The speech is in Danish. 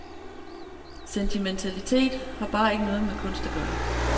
Sentimentalitet har bare ikke noget med kunst at gøre.